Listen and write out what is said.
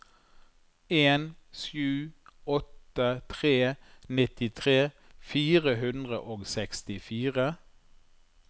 en sju åtte tre nittitre fire hundre og sekstifire